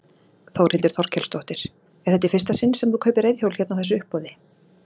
Þórhildur Þorkelsdóttir: Er þetta í fyrsta sinn sem þú kaupir reiðhjól hérna á þessu uppboði?